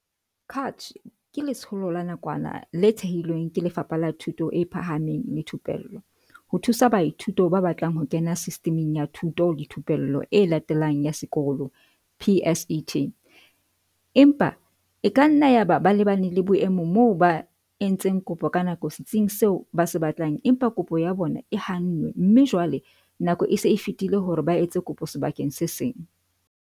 CACH ke letsholo la nakwana le thehilweng ke Lefapha la Thuto e Phahameng le Thupello ho thusa baithuti ba batlang ho kena Sistiming ya Thuto le Thupello e Latelang ya Sekolo, PSET, empa e kanna yaba ba lebane le boemo moo ba, entseng kopo ka nako setsing seo ba se batlang, empa kopo ya bona e hannwe mme jwale nako e se e fetile hore ba etse kopo sebakeng se seng.